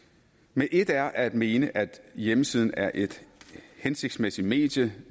men et er at mene at hjemmesiden er et hensigtsmæssigt medie